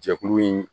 Jɛkulu in